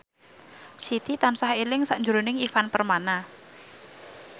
Siti tansah eling sakjroning Ivan Permana